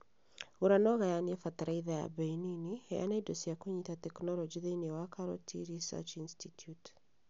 Gũra na ũgayanie bataraitha ya bei nini. Heana indo cia kũnyita tekinoronjĩ thĩiniĩ wa KALRO Tea Research Institute